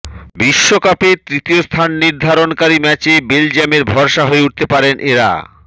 বিশ্বকাপে তৃতীয়স্থান নির্ধারণকারী ম্যাচে বেলজিয়ামের ভরসা হয়ে উঠতে পারেন এরা